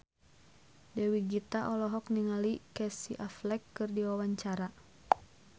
Dewi Gita olohok ningali Casey Affleck keur diwawancara